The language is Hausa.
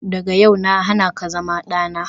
Daga yau na hana ka zama dana.